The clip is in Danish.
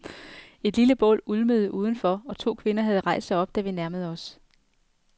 Et lille bål ulmede udenfor, og to kvinder havde rejst sig op, da vi nærmede os.